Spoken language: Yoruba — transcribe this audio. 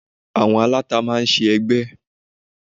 Àwọn aláta máa ń ṣe ẹgbẹ́